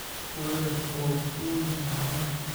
Muwadhaf ooku weyn maxa waye?